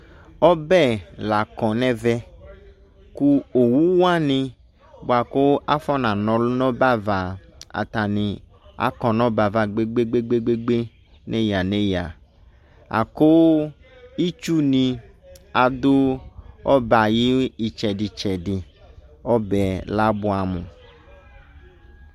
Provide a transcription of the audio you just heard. Ɔbɛ la kɔ nɛvɛ ko owu wane boa ko afona nɔlu no ɔbɛva atane ako no ɔbɛva gbegbegbegbe neya neya, ako itsu ne ado ɔbɛ ayo etsɛdetsɛdeƆ bɛ la buamo